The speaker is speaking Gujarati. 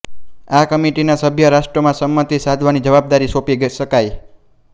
આ કમિટીને સભ્ય રાષ્ટ્રોમાં સંમતિ સાંધવાની જવાબદારી સોંપી શકાય